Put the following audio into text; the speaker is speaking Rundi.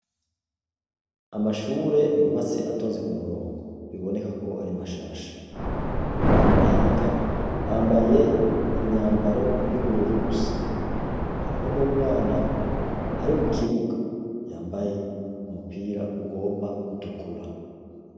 Amashure yubatse atonze ku muronogo bibonekako ari mashasha. Abana bahiga, bambaye imyambaro y'ubururu gusa. Hariho n'umwana ari mu kibuga, yambaye umupira ugomba gutukura.